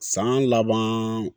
San laban